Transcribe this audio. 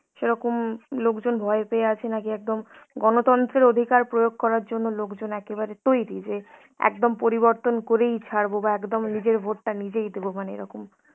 সেরকম লোকজন ভয় পেয়ে আছে নাকি একদম গণতন্ত্রের অধিকার প্রয়োগ করার জন্য লোকজন একেবারে তৈরি যে একদম পরিবর্তন করেই ছাড়বো বা একদম নিজের ভোটটা নিজেই দেবো মানে এরকম.